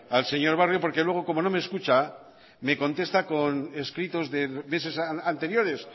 al señor barrio porque luego como no me escucha me contesta con escritos de meses anteriores